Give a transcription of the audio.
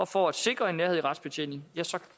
for at sikre en nærhed i retsbetjeningen ja så